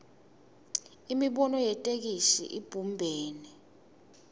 imibono yetheksthi ibumbene